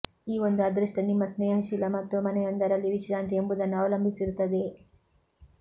ಈ ಒಂದು ಅದೃಷ್ಟ ನಿಮ್ಮ ಸ್ನೇಹಶೀಲ ಮತ್ತು ಮನೆಯೊಂದರಲ್ಲಿ ವಿಶ್ರಾಂತಿ ಎಂಬುದನ್ನು ಅವಲಂಬಿಸಿರುತ್ತದೆ